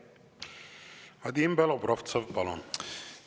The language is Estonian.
Vadim Belobrovtsev, palun!